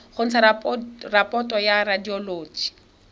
go ntsha raporoto ya radioloji